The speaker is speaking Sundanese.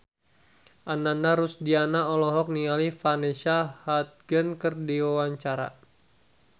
Ananda Rusdiana olohok ningali Vanessa Hudgens keur diwawancara